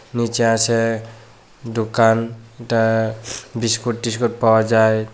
নীচে আছে দোকানটা বিস্কুট টিস্কুট পাওয়া যায়।